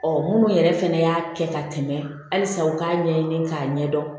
minnu yɛrɛ fɛnɛ y'a kɛ ka tɛmɛ halisa u k'a ɲɛɲini k'a ɲɛdɔn